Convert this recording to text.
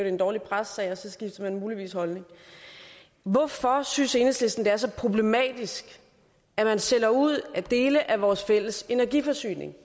en dårlig pressesag og så skiftede man muligvis holdning hvorfor synes enhedslisten at det er så problematisk at sælge ud af dele af vores fælles energiforsyning